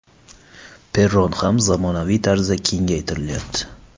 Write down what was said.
Perron ham zamonaviy tarzda kengaytirilyapti.